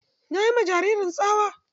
Na yi ma jaririn tsawa.